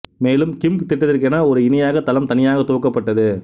மேலும் கிம்ப் திட்டத்திற்கென ஒரு இணைய தளம் தனியாக துவக்கப்பட்டது